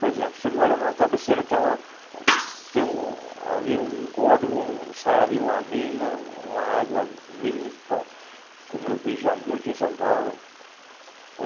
Por exemplo, você mora numa cabeceira, tem ali um córrego, sai ali uma mina, uma água limpa, como eu vi já muito em São Paulo.